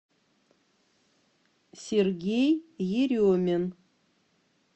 сергей еремин